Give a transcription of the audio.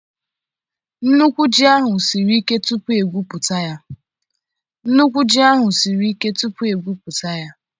Nnukwu ji ahụ siri ike tupu egwuputa ya.